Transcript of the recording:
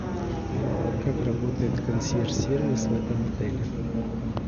как работает консьерж сервис в этом отеле